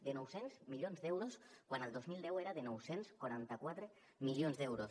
de nou cents milions d’euros quan el dos mil deu era de nou cents i quaranta quatre milions d’euros